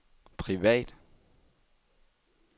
privat